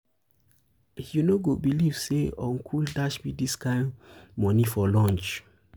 um you um no go believe say uncle dash um me dis kin money for lunch.